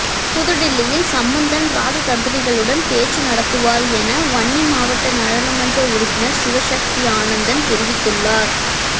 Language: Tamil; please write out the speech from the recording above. புதுடில்லியில் சம்மந்தன் இராஜதந்திரிகளுடனும் பேச்சு நடத்துவார் என வன்னி மாவட்ட நாடாளுமன்ற உறுப்பினர் சிவசக்தி ஆனந்தன் தெரிவித்துள்ளார்